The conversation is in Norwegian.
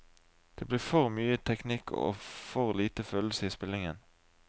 Det blir for mye teknikk og for lite følelse i spillingen.